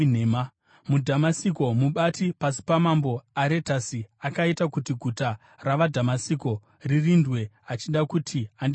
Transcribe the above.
MuDhamasiko mubati pasi pamambo Aretasi akaita kuti guta ravaDhamasiko ririndwe achida kuti andisunge.